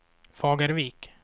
Fagervik